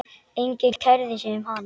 Enginn kærði sig um hann.